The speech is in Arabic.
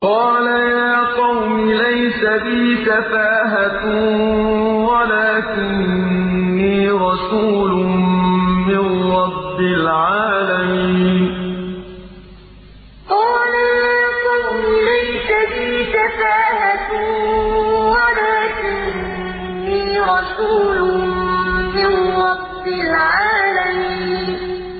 قَالَ يَا قَوْمِ لَيْسَ بِي سَفَاهَةٌ وَلَٰكِنِّي رَسُولٌ مِّن رَّبِّ الْعَالَمِينَ قَالَ يَا قَوْمِ لَيْسَ بِي سَفَاهَةٌ وَلَٰكِنِّي رَسُولٌ مِّن رَّبِّ الْعَالَمِينَ